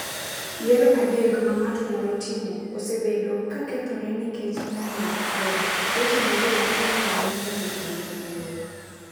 Yiero adek ma ng’ato nyalo timo osebedo ka kethore nikech ng’anjo kod weche ma ji wacho ni ne omiyo obila luoro.